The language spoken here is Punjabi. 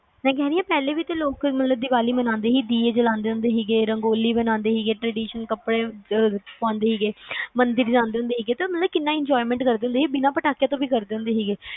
ਮੈਂ ਕਹੇ ਰਹੀ ਆ ਪਹਿਲੇ ਵੀ ਤੇ ਲੋਕ ਦੀਵਾਲੀ ਮੰਨਾਂਦੇ ਸੀ ਦੀਏ ਜਲਾਂਦੇ ਹੁੰਦੇ ਸੀਗੇ ਰੰਗੋਲੀ ਬੰਨਾਂਦੇ ਸੀਗੇ ਮੰਦਿਰ ਜਾਂਦੇ ਹੁੰਦੇ ਸੀਗੇ ਕਿੰਨਾ enjoyment ਕਰਦੇ ਹੁੰਦੇ ਸੀ ਬਿਨਾ ਪਟਾਕਿਆਂ ਤੋਂ